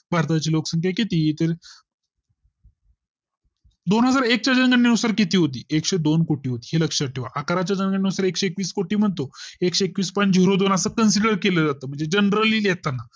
भारता ची लोकसंख्या किती तर दोन हजार एक च्या जनगणने नुसार किती होती एकशे दोन कोटी होती हे लक्षात ठेवा अकरा च्या जनगणने नुसार एकशे एकवीस कोटी म्हणतो एकशे एकवीस point zero दोन असं Consider केले जात म्हणजे generally घेताना